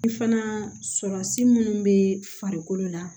I fana surasi minnu bɛ farikolo la